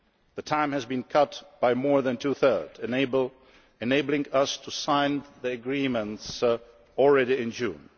The time has been cut by more than two thirds, enabling us to sign the Agreements already in June.